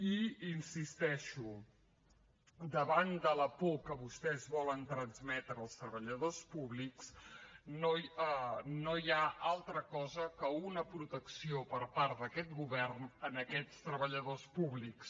i hi insisteixo davant la por que vostès volen transmetre als treballadors públics no hi ha altra cosa que una protecció per part d’aquest govern a aquests treballadors públics